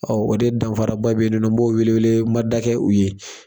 o de danfaraba be yen n b'o wele wele mada kɛ u ye